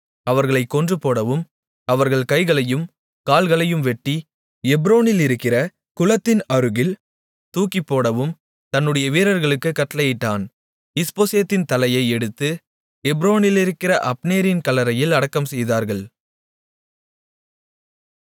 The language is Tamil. அவர்களைக் கொன்றுபோடவும் அவர்கள் கைகளையும் கால்களையும் வெட்டி எப்ரோனிலிருக்கிற குளத்தின் அருகில் தூக்கிப்போடவும் தன்னுடைய வீரர்களுக்குக் கட்டளையிட்டான் இஸ்போசேத்தின் தலையை எடுத்து எப்ரோனிலிருக்கிற அப்னேரின் கல்லறையில் அடக்கம்செய்தார்கள்